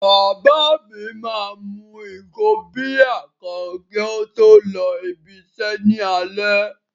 Bàbá mi máa mu ìgò bíà kan kí ó tó lọ ibi-iṣẹ́ ní alẹ́.